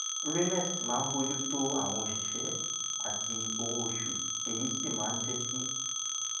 raenest máa ń bójú tó àwọn òṣìṣé àti owó oṣù èyí sì máa ń jé kí